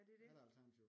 Ja det er det